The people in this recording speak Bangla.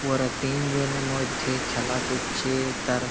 ওরা তিনজনের মধ্যে খেলা করছে। তার--